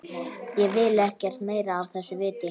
Ég vil ekkert meira af þessu vita.